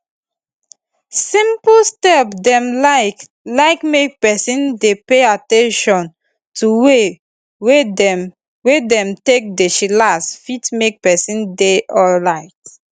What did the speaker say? simple step dem like like make peson dey pay at ten tion to way dem wey dem take dey chillax fit make peson dey alrite